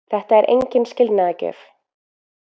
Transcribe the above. Þetta er engin skilnaðargjöf.